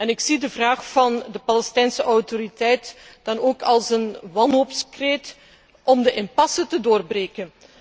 Ik zie de vraag van de Palestijnse Autoriteit dan ook als een wanhoopskreet om de impasse te doorbreken.